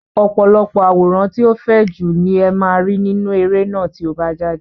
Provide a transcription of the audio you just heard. Ọ̀pọ̀lọpọ̀ àwòrán tí ó fẹjú ni ẹ máa rí nínú eré náà tí ó bá jáde.